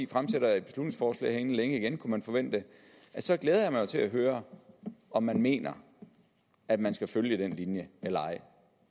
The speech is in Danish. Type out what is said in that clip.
fremsætter et beslutningsforslag her inden længe igen det kunne man forvente så glæder jeg mig til at høre om man mener at man skal følge den linje eller ej